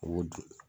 U b'o dun